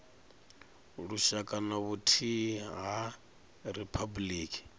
lushaka na vhuthihi ha riphabuliki